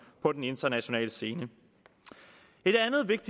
på den internationale scene